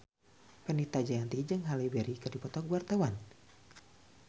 Fenita Jayanti jeung Halle Berry keur dipoto ku wartawan